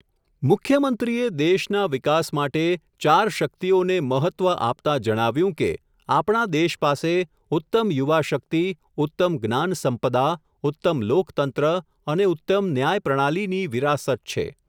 મુખ્યમંત્રીએ, દેશના વિકાસ માટે, ચાર શક્તિઓને, મહત્વ આપતા જણાવ્યું કે, આપણા દેશ પાસે, ઉત્તમ યુવાશક્તિ, ઉત્તમ જ્ઞાનસંપદા, ઉત્તમ લોકતંત્ર, અને ઉત્તમ ન્યાયપ્રણાલીની, વિરાસત છે.